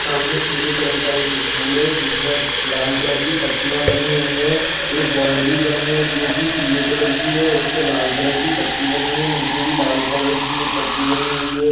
सामने पीले कलर का एक स्कूल है जिसमें लाल कलर की पट्टियां बनी हुई है एक बाउंड्री बनी है जो पीले कलर की है उसे पर लाल कलर की पट्टी बनी हुई है नीचे भी एक लाल कलर की पट्टी बनी हुई है।